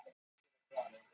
Elektra